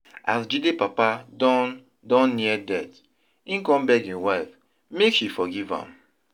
As Jide papa don don near death, im come beg im wife make she forgive am